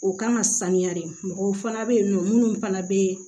O kan ka sanuya de mɔgɔw fana bɛ yen nɔ minnu fana bɛ